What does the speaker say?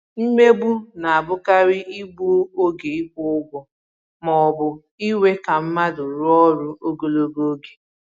Mmegbu na-abụkarị igbu oge ịkwụ ụgwọ ma ọ bụ iwè ka mmadụ rụọ ọrụ ogologo oge